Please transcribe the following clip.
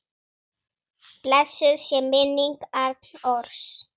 Blessuð sé minning Arnórs.